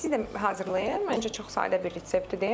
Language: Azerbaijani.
Siz də hazırlayın, məncə çox sadə bir reseptdir.